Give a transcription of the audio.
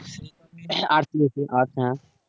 arts নিয়েছিস আচ্ছা